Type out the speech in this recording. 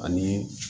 Ani